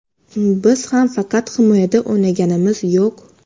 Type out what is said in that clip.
Biz ham faqat himoyada o‘ynaganimiz yo‘q.